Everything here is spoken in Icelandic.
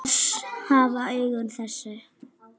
Oss hafa augun þessi